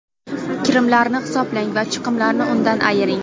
Kirimlarni hisoblang va chiqimlarni undan ayiring.